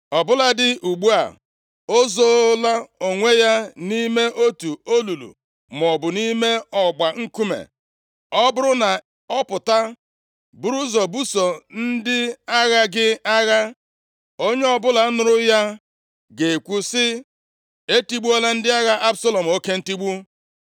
Ọ bụladị ugbu a, o zoola onwe ya nʼime otu olulu maọbụ nʼime ọgba nkume. Ọ bụrụ na ọ pụta buru ụzọ buso ndị agha gị agha, onye ọbụla nụrụ ya ga-ekwu sị, ‘Etigbuola ndị agha Absalọm oke ntigbu.’